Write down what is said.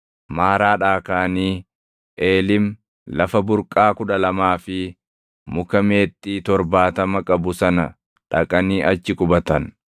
Maaraadhaa kaʼanii Eelim lafa burqaa kudha lamaa fi muka meexxii torbaatama qabu sana dhaqanii achi qubatan.